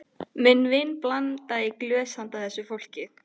Minn vin blandaði í glös handa þessu fólki.